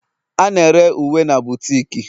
A na-ere uwe na bootiki